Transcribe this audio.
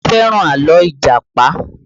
Adé fẹ́ràn àlọ́ Ìjàpá